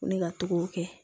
Ko ne ka to k'o kɛ